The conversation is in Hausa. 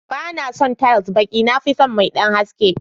Banason tiles baƙi na fison mai ɗan haske.